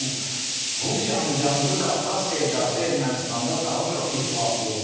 Bu gün Rusiyanın Cənubi Qafqaz sevdası Ermənistanda daha çox iflasa uğrayır.